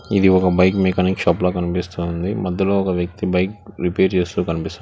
ఇది ఒక bike mechanic shop లా కనిపిస్తుంది అందులో ఒక వ్యక్తి బైక్ రిపేర్ చేస్తూ కనిపిస్తూ--